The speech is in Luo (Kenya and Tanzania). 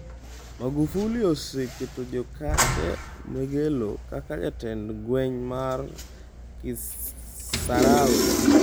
Magufuli oseketo Jokate Mwegelo kaka jatend gweng' mar Kisarawe